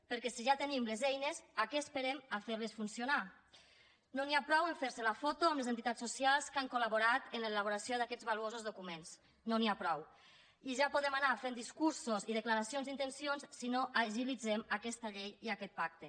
perquè si ja tenim les eines a què esperem a fer les funcionar no n’hi ha prou a fer se la foto amb les entitats socials que han col·laborat en l’elaboració d’aquests valuosos documents i ja podem anar fent discursos i declaracions d’intencions si no agilitzem aquesta llei i aquest pacte